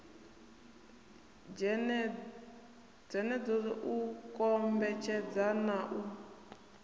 dzenedzo u kombetshedza na u